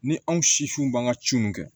Ni anw siw b'an ka ci mun kɛ